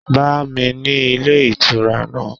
Bá mi ni ilé ìtura náà!